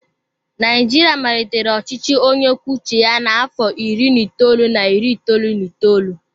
Naijiria malitere ọchịchị onye kwuo uche ya n'afọ iri na itoolu na iri itoolu na itoolu.